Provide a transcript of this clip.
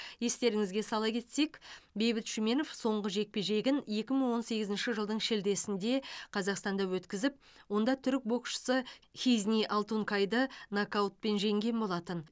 естеріңізге сала кетсек бейбіт шүменов соңғы жекпе жегін екі мың он сегізінші жылдың шілдесінде қазақстанда өткізіп онда түрік боксшысы хизни алтункайды нокаутпен жеңген болатын